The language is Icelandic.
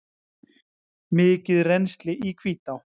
Mikið rennsli í Hvítá